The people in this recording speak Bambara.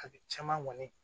A bɛ caman ŋɔni